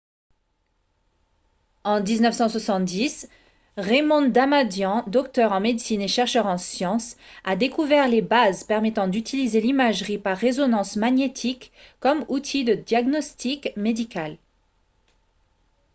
en 1970 raymond damadian docteur en médecine et chercheur en sciences a découvert les bases permettant d'utiliser l'imagerie par résonance magnétique comme outil de diagnostic médical